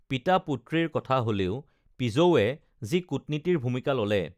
পিতা পুত্ৰীৰ কথা হলেও পিজৌৱে যি কুট নীতিৰ ভূমিকা ললে